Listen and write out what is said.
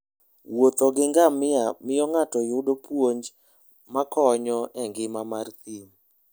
Wuotho gi ngamia miyo ng'ato yudo puonj makonyo e ngima mar thim.